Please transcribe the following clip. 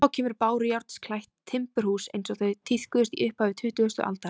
Þá kemur bárujárnsklætt timburhús eins og þau tíðkuðust í upphafi tuttugustu aldarinnar.